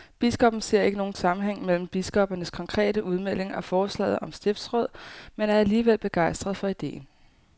Biskoppen ser ikke nogen sammenhæng mellem biskoppernes konkrete udmelding og forslaget om stiftsråd, men er alligevel begejstret for ideen.